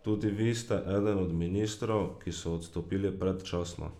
Tudi vi ste eden o ministrov, ki so odstopili predčasno.